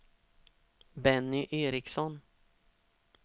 Benny Ericson